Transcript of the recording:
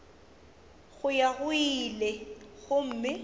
go ya go ile gomme